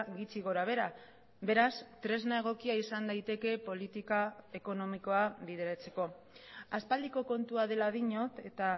gutxi gora behera beraz tresna egokia izan daiteke politika ekonomikoa bideratzeko aspaldiko kontua dela diot eta